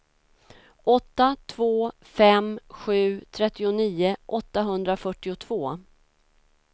åtta två fem sju trettionio åttahundrafyrtiotvå